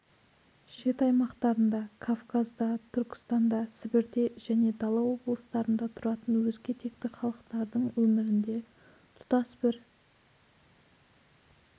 шет аймақтарында кавказда түркістанда сібірде және дала облыстарында тұратын өзге текті халықтардың өмірінде тұтас бір